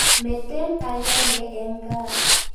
Meten akenge eng' kaa.